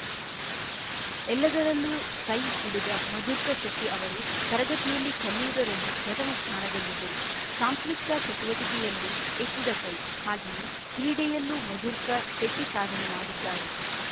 ಎಲ್ಲರದಲ್ಲೂ ಸೈ ಹುಡುಗ ಮಧುರ್ಕ ಶೆಟ್ಟಿಅವರು ತರಗತಿಯಲ್ಲಿ ಕಲಿಯುವುದರಲ್ಲಿ ಪ್ರಥಮ ಸ್ಥಾನದಲ್ಲಿದ್ದರು ಸಾಂಸ್ಕೃತಿಕ ಚಟುವಟಿಕೆಯಲ್ಲೂ ಎತ್ತಿದ ಕೈ ಹಾಗೆಯೇ ಕ್ರೀಡೆಯಲ್ಲೂ ಮಧುರ್ಕ ಶೆಟ್ಟಿಸಾಧನೆ ಮಾಡಿದ್ದಾರೆ